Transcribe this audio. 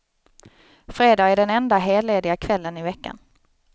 Fredag är den enda hellediga kvällen i veckan.